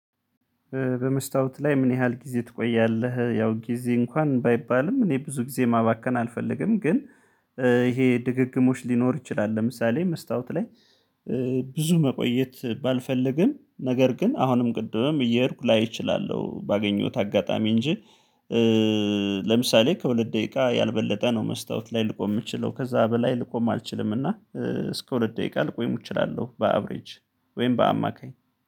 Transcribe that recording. በመስታወት ላይ ምን ያህል ጊዜ ትቆያለህ? ያው ጊዜ እንኳን ባይባልም እኔ ብዙ ጊዜ ማባከን አልፈልግም ግን ይሄ ድግግሞች ሊኖር ይችላል። ለምሳሌ መስታወት ላይ ብዙ መቆየት ባልፈልግም ነገር ግን አሁንም ቅድምም እየሄድኩ ላይ እችላለሁ ባገኘሁት አጋጣሚ እንጂ። ለምሳሌ ከሁለት ደቂቃ ያልበለጠ ነው መስታወት ላይ ልቆም የምችለው ከዛ በላይ ልቆም አልችልም እና እስከ ሁለት ደቂቃ ልቆይም እችላለሁ በአቭሬጅ። ወይም በአማካኝ